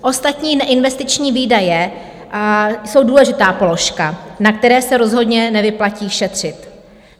Ostatní neinvestiční výdaje jsou důležitá položka, na které se rozhodně nevyplatí šetřit.